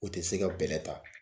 O tɛ se ka bɛlɛ ta.